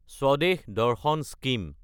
Swadesh Darshan scheme